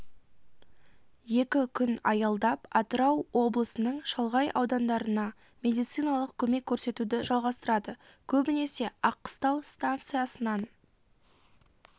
екі күн аялдап атырау облысының шалғай аудандарына медициналық көмек көрсетуді жалғастырады көбінесе аққыстау станциясынан